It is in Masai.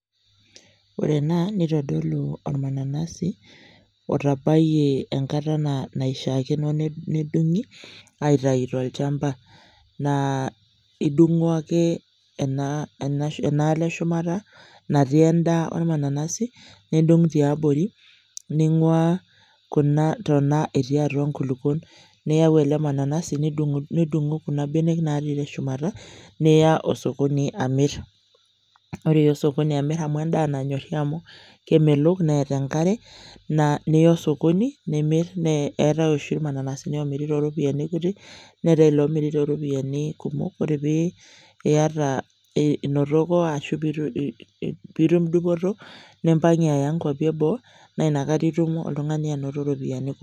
Ore ena nitodolu ormananasi otabayie enkata naishiaakino nedungi aitayu tolchamba. Naa idungu ake enaalo eshumata natii endaa ormananasi , ndung tiabori , ningwaa kuna tona etii atua nkulukuok, niyau ele mananasi nidungu kuna benek natii teshumata niya osokoni amir. Ore iya osokoni amir amu endaa nanyori amu kemelok neeta enkare, niya osokoni nimir . Eetae oshi ormananasi omiri toropiyiani kutik neetae olomiri toropiyiani kumok , ore piyata ashu inotoko ashu pitum dupoto , nimpangie aya nkwapi eboo naa inakata itum oltungani anoto iropiyiani kumok.